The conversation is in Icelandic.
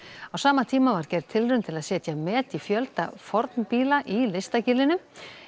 á sama tíma var gerð tilraun til að setja met í fjölda fornbíla í Listagilinu